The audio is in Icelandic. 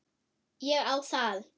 Ég á það.